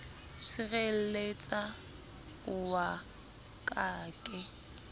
sirelletsa o wa ka ke